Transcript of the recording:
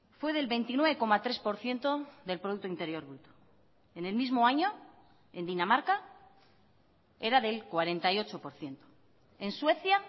fue del veintinueve coma tres por ciento del producto interior bruto en el mismo año en dinamarca era del cuarenta y ocho por ciento en suecia